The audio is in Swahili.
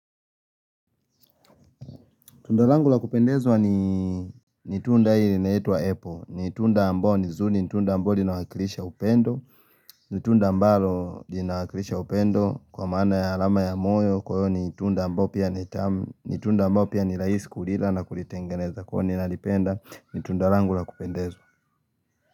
Tunda langu lakupendezwa ni tunda hii linaitwa apple. Ni tunda ambao ni zuri, ni tunda ambao linawakilisha upendo. Ni tunda ambalo linawakilisha upendo kwa maana ya alama ya moyo. Kwa hiyo ni tunda ambao pia ni tamu. Ni tunda ambao pia ni raisi kulila na kulitengeneza. Kwa hiyo ninalipenda ni tunda langu lakupendezwa.